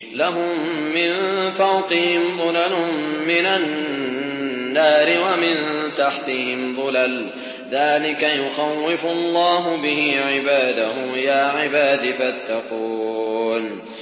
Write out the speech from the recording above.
لَهُم مِّن فَوْقِهِمْ ظُلَلٌ مِّنَ النَّارِ وَمِن تَحْتِهِمْ ظُلَلٌ ۚ ذَٰلِكَ يُخَوِّفُ اللَّهُ بِهِ عِبَادَهُ ۚ يَا عِبَادِ فَاتَّقُونِ